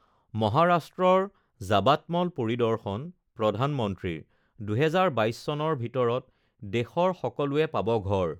মহাৰাষ্ট্ৰৰ যাবাৎমল পৰিদৰ্শন প্ৰধানমন্ত্ৰীৰ, ২০২২ চনৰ ভিতৰত দেশৰ সকলোৱে পাব ঘৰ